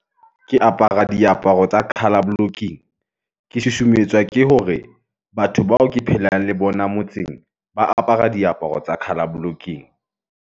Ke apara diaparo tsa colour blocking. Ke susumetswa ke hore batho bao ke phelang le bona motseng ba apara diaparo tsa colour blocking.